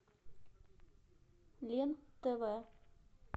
лен тв